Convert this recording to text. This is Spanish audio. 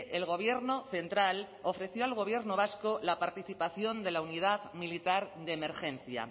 el gobierno central ofreció al gobierno vasco la participación de la unidad militar de emergencia